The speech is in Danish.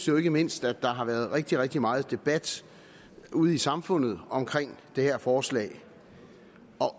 jo ikke mindst at der har været rigtig rigtig meget debat ude i samfundet omkring det her forslag